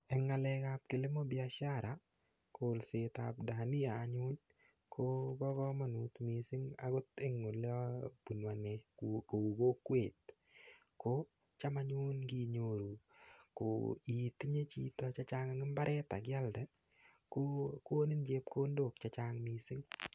Eng' ng'alekab kilimo biashara kolsetab dania anyun kobo komonut mising' akot eng' ole abunu ane kou kokwet ko cham anyun nginyoru itinye chito chechang' eng' imbaret asialde kokonin chepkondok chechang' mising'